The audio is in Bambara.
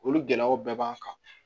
Olu gɛlɛyaw bɛɛ b'an kan